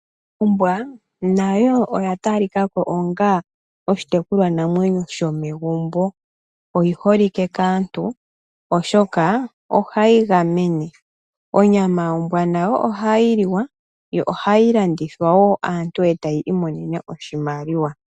Ombwa nayo oya talika ko onga oshitekulwanamwenyo shomegumbo, oyi holike kaantu oshoka ohayi gamene. Onyama yombwa nayo ohayi liwa yo ohayi landithwa woo aantu e taya imonene oshimaliwa.